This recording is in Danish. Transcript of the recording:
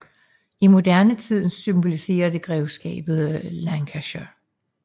I moderne tid symboliserer det grevskabet Lancashire